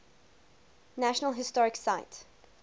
national historic site